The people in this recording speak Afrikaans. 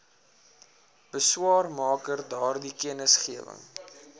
beswaarmaker daardie kennisgewing